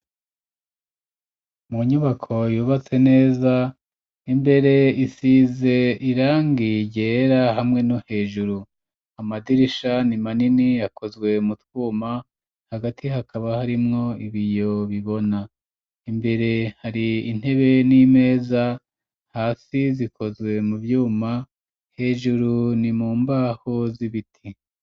Mu nyubako yubatse neza, imbere isize irangi ryera hamwe no hejuru ,amadirisha ni manini yakozwe mu twuma ,hagati hakaba harimwo ibiyo bibona ,imbere hari intebe n'imeza ,hasi zikozwe mu vyuma, hejuru ni mu mbaho z'ibiti.